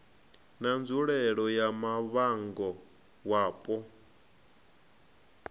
na nzulele ya muvhango wapo